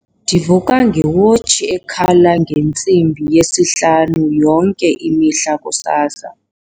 Ndivuka ngewotshi ekhala ngentsimbi yesihlanu yonke imihla kusasa.